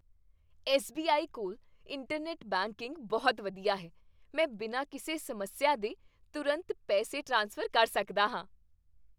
S. B. I. ਕੋਲ internet banking ਬਹੁਤ ਵਧੀਆ ਹੈ। ਮੈਂ ਬਿਨਾਂ ਕਿਸੇ ਸਮੱਸਿਆ ਦੇ ਤੁਰੰਤ ਪੈਸੇ ਟ੍ਰਾਂਸਫਰ ਕਰ ਸਕਦਾ ਹਾਂ।